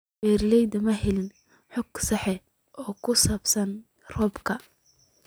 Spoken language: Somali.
Beeraleydu ma helaan xog sax ah oo ku saabsan roobabka.